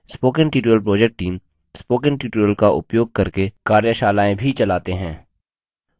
spoken tutorial project team spoken tutorial का उपयोग करके कार्यशालाएँ भी चलाते हैं